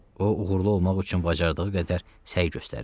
O uğurlu olmaq üçün bacardığı qədər səy göstərirdi.